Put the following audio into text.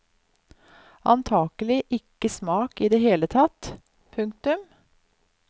Antakelig ikke smak i det hele tatt. punktum